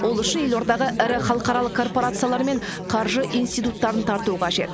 ол үшін елордаға ірі халықаралық корпорациялар мен қаржы институттарын тарту қажет